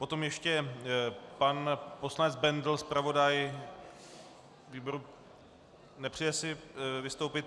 Potom ještě pan poslanec Bendl - zpravodaj výboru... nepřeje si vystoupit.